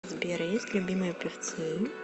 сбер есть любимые певцы